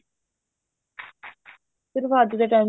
ਸਿਰਫ ਅੱਜ ਦੇ time